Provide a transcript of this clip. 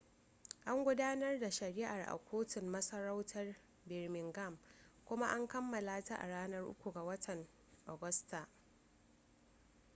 an gudanar da shari'ar a kotun masarautar birmingham kuma an kammala ta a ranar 3 ga watan agusta